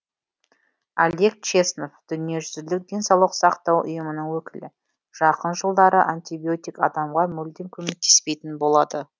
олег чеснов дүниежүзілік денсаулық сақтау ұйымының өкілі жақын жылдары антибиотик адамға мүлдем көмектеспейтін болады